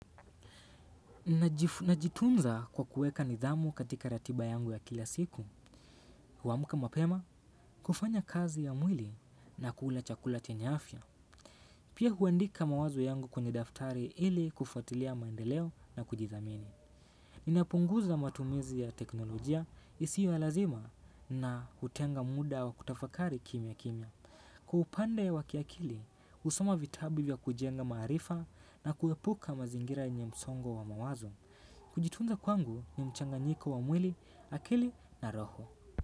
Najitunza kwa kueka nidhamu katika ratiba yangu ya kila siku kuamka mapema kufanya kazi ya mwili na kula chakula chenye afya. Pia huandika mawazo yangu kwenye daftari ili kufuatilia maendeleo na kujidhamini. Ninapunguza matumizi ya teknolojia isio ya lazima na hutenga muda wa kutafakari kimya kimya. Kwa upande wa kiakili, usoma vitabu vya kujenga maarifa na kuepuka mazingira yenye msongo wa mawazo. Kujitunza kwangu ni mchanganyiko wa mwili, akili na roho.